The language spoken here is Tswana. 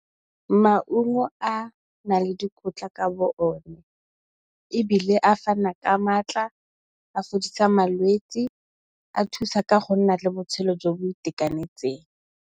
Maungo a nale le dikotla ka bo o ne, ebile a fana ka maatla, a fodisa malwetsi, a thusa ka go nna le botshelo jo bo itekanetseng.